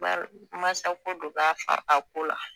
Bari mansako de b'a a ko la